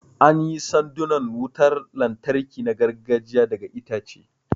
An yi sandunan wutar lantarki na gargajiya daga itace